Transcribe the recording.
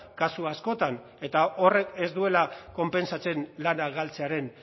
kasu askotan eta horrek ez duela konpentsatzen lana galtzearen